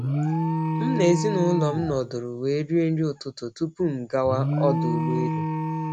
M na ezinụlọ m nọdụrụ wee rie nri ụtụtụ tupu m gawa ọdụ ụgbọ elu.